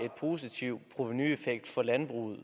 positiv provenueffekt for landbruget